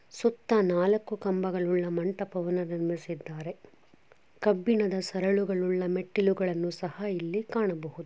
ಸುತ್ತ ನಾಲ್ಕು ಕಂಬಗಳ ಮಂಟಪವನ್ನು ನಿರ್ಮಿಸಿದ್ದಾರೆ ಕಬ್ಬಿಣದ ಸರಳುಗಳುಲ್ಲ ಮೆಟ್ಟಿಲುಗಳನ್ನು ಸಹ ಇಲ್ಲಿ ಕಾಣಬಹುದು.